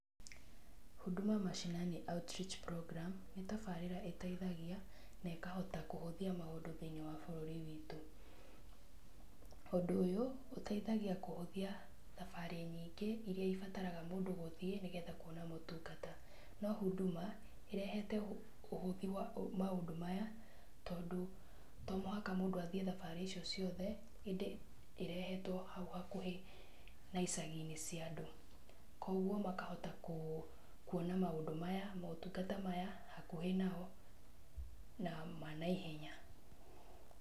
Huduma Mashinani Outreach Program nĩ tabarĩra ĩteithagia na ĩkahota kũhũthia maũndũ thĩinĩ wa bũrũri witũ, ũndũ ũyũ, ũteithagia kũhũthia thabarĩ nyingĩ iria ibataraga mũndũ gũthiĩ nĩguo kuona motungata, no Huduma ĩrehete ũhũthi wa maũndũ maya tondũ to mũhaka mũndũ athiĩ thabarĩ icio ciothe, ĩndĩ ĩrehetwo hau hakuhĩ na icagi-inĩ cia andũ, koguo makahota kuona maũndũ maya motungata maya hakuhĩ nao na ma naihenya.